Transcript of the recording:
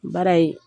Baara ye